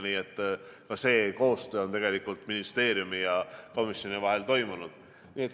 Nii et see koostöö on samuti ministeeriumi ja komisjoni vahel toimunud.